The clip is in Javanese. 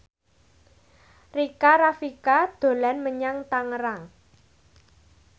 Rika Rafika dolan menyang Tangerang